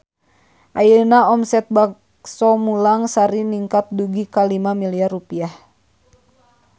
Ayeuna omset Bakso Mulang Sari ningkat dugi ka 5 miliar rupiah